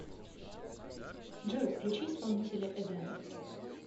джой включи исполнителя эдэн